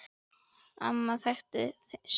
Amma þekkti sinn mann.